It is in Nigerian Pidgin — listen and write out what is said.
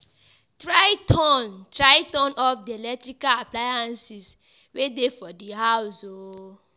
Try turn Try turn off di electrical appliances wey de for di house um